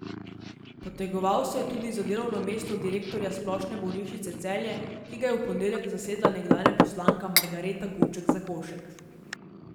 Potegoval se je tudi za delovno mesto direktorja Splošne bolnišnice Celje, ki ga je v ponedeljek zasedla nekdanja poslanka Margareta Guček Zakošek.